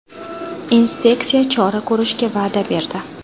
Inspeksiya chora ko‘rishga va’da berdi.